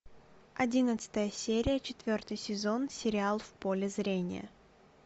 одиннадцатая серия четвертый сезон сериал в поле зрения